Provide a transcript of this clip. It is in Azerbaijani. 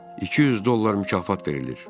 200 dollar mükafat verilir.